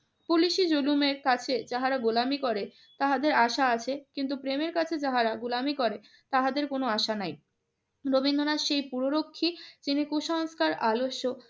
পুলিশি জুলুমের কাছে যারা গোলামী করে তাহাদের আশা আছে, কিন্তু প্রেমের কাছে যাহারা গোলামি করে তাহাদের কোন আশা নাই। রবীন্দ্রনাথ সেই পুররক্ষী তিনি কুসংস্কার আলস্য